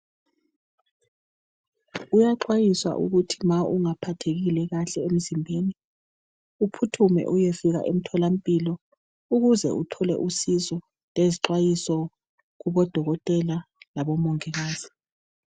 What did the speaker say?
Kuyaxwayiswa ukuthi ma ungaphathekile kahle emzimbeni. Uphuthume uyefika emtholampilo. Ukuze uthole usizo, lezixwayiso kubodokotela, labomongikazi.